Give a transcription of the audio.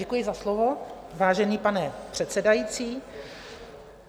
Děkuji za slovo, vážený pane předsedající.